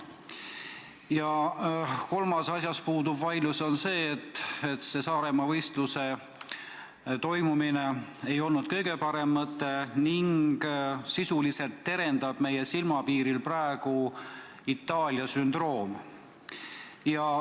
Ja kolmas asi, mille üle vaidlus puudub, on see, et Saaremaal võistluse toimumine ei olnud kõige parem mõte ning sisuliselt terendab meil praegu silmapiiril Itaalia sündroom.